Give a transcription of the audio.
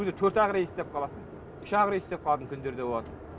төрт ақ рейс істеп қаласың үш ақ рейс істеп қалатын күндер де болады